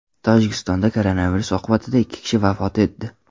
Tojikistonda koronavirus oqibatida ikki kishi vafot etdi.